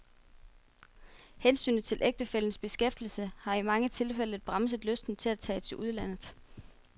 Hensynet til ægtefællens beskæftigelse har i mange tilfælde bremset lysten til at tage til udlandet.